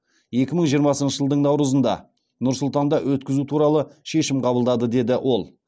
екі мың жиырмасыншы жылдың наурызында нұр сұлтанда өткізу туралы шешім қабылдады деді ол